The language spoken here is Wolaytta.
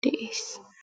de'ees.